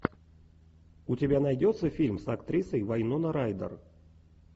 у тебя найдется фильм с актрисой вайнона райдер